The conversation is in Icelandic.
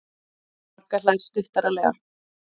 Magga hlær stuttaralega.